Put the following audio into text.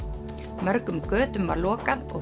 mörgum götum var lokað og